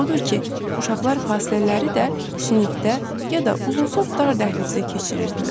Odur ki, uşaqlar fasilələri də sinifdə ya da uzunsov dar dəhlizdə keçirirdilər.